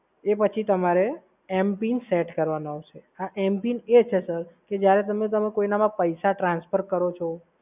એ પછી તમારે m pin set કરવાનો રહેશે સર. આ m pin એ છે સર કે જ્યારે તમે તમે કોઇનાંમાં પૈસા transfer કરો છો